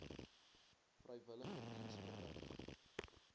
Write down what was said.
vrywillige diens verrig